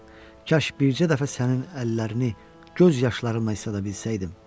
Ah, kaş bircə dəfə sənin əllərini göz yaşlarımla islada bilsəydim.